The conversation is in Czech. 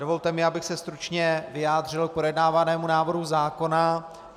Dovolte mi, abych se stručně vyjádřil k projednávanému návrhu zákona.